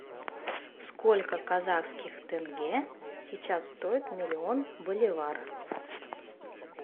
сколько казахских тенге сейчас стоит миллион боливар